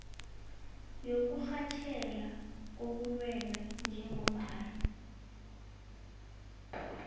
yokurhatjheka kobulwelwe njengombana